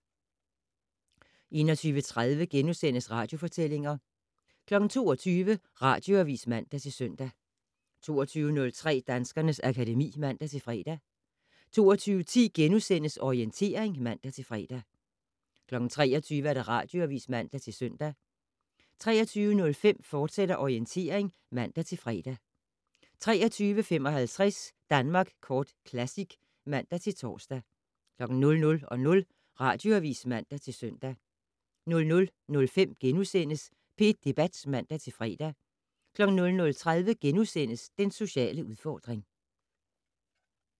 21:30: Radiofortællinger * 22:00: Radioavis (man-søn) 22:03: Danskernes akademi (man-fre) 22:10: Orientering *(man-fre) 23:00: Radioavis (man-søn) 23:05: Orientering, fortsat (man-fre) 23:55: Danmark Kort Classic (man-tor) 00:00: Radioavis (man-søn) 00:05: P1 Debat *(man-fre) 00:30: Den sociale udfordring *